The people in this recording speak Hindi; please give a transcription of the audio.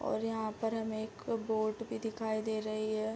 और यहाँ पर हमे एक बोर्ड भी दिखाई दे रही है।